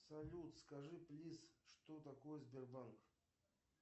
салют скажи плиз что такое сбербанк